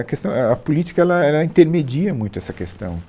A questão é, a política ela ela intermedia muito essa questão.